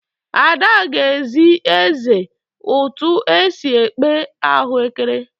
Ada ga-ezi eze ụtụ esi ekpe ahuekere.